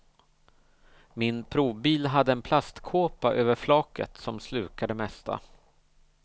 Min provbil hade en plastkåpa över flaket som slukar det mesta.